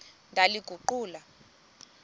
ndaliguqula